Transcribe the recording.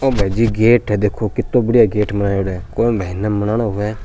ओ भाईजी गेट है देखो कीतो बड़ियां --